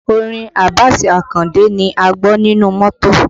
Orin Abbas Akande ni a ń gbọ́ nínú mọ́tò